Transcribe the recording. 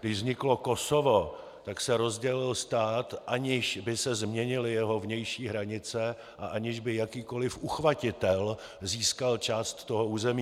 Když vzniklo Kosovo, tak se rozdělil stát, aniž by se změnily jeho vnější hranice a aniž by jakýkoliv uchvatitel získal část toho území.